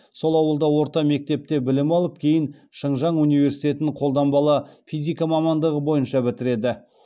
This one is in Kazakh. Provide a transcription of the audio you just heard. сол ауылда орта мектепте білім алып кейін шыңжаң университетін қолданбалы физика мамандығы бойынша бітіреді